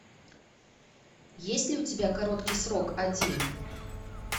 есть ли у тебя короткий срок один